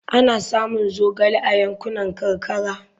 Ana samun zogale a yankunan karkara.